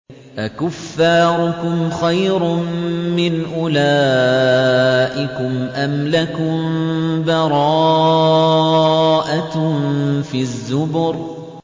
أَكُفَّارُكُمْ خَيْرٌ مِّنْ أُولَٰئِكُمْ أَمْ لَكُم بَرَاءَةٌ فِي الزُّبُرِ